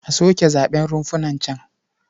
A soke zaɓen runfunan can.